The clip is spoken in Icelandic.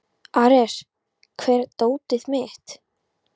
Ares, hvar er dótið mitt?